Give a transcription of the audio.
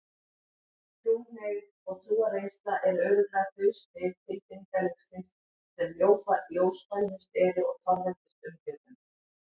Trúhneigð og trúarreynsla eru örugglega þau svið tilfinningalífsins sem ljósfælnust eru og torveldust umfjöllunar.